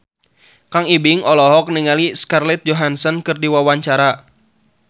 Kang Ibing olohok ningali Scarlett Johansson keur diwawancara